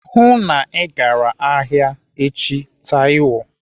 Hụụ na Ị gara ahịa echi, Taiwo.